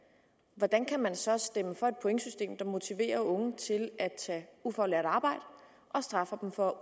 hvordan kan man så stemme for et pointsystem der motiverer unge til at tage ufaglært arbejde og straffer dem for